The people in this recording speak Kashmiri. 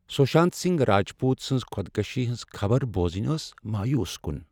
سوشانت سنگھ راجپوت سنٛز خودکشی ہنٛز خبر بوزنۍ ٲس مایوس کن۔